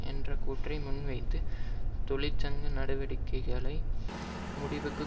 என்ற கூற்றை முன்வைத்து தொழிற்சங்க நடவடிக்கைகளை முடிவுக்கு